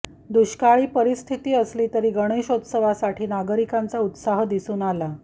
दुष्काळी परिस्थिती असली तरी गणेशोत्सवासाठी नागरिकांचा उत्साह दिसून आला